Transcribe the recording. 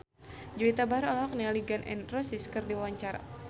Juwita Bahar olohok ningali Gun N Roses keur diwawancara